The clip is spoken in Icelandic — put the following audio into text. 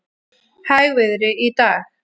Hægviðri í dag